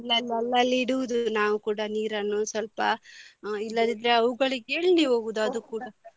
ಅಲ್ಲಲ್ಲಿ ಅಲ್ಲಲ್ಲಿ ಇಡುವುದು ನಾವು ಕೂಡ ನೀರನ್ನು ಸ್ವಲ್ಪ ಇಲ್ಲದಿದ್ರೆ ಅವುಗಳಿಗೆ ಎಲ್ಲಿ ಹೋಗುದು ಅದು ಕೂಡ.